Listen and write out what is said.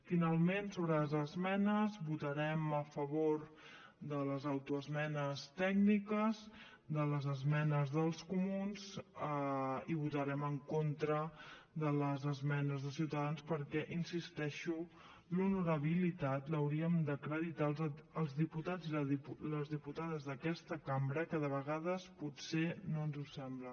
finalment sobre les esmenes votarem a favor de les autoesmenes tècniques de les esmenes dels comuns i votarem en contra de les esmenes de ciutadans perquè hi insisteixo l’honorabilitat l’hauríem d’acreditar els diputats i les diputades d’aquesta cambra que de vegades potser no ens ho sembla